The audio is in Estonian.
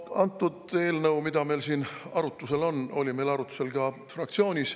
No eelnõu, mida me siin arutame, oli meil arutusel ka fraktsioonis.